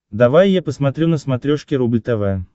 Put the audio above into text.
давай я посмотрю на смотрешке рубль тв